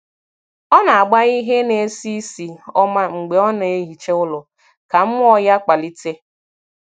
Ọ na - agba ihe na-esi isi ọma mgbe ọ na - ehicha ụlọ ka mmụọ ya kpalite.